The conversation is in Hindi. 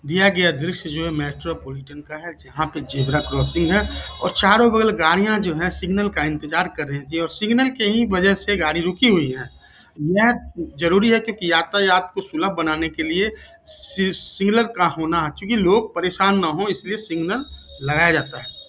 दिया गया दृश्य जो है मेट्रोपोलिटन का है जहां पे ज़ेबरा क्रॉसिंग है और चारो बगल गाड़िया जो है सिग्नल का इंतज़ार कर रही थी और सिग्नल के ही वजह से गाड़ी रुकी हुई है | यह जरूरी है कि यातायात को सुलभ बनाने के लिए सी सिग्नल का होना क्योकि लोग परेशान न हो इसलिए सिग्नल लगाया जाता है।